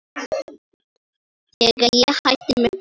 Þegar ég hætti með Baldri.